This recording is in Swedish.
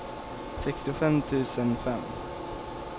sextiofem tusen fem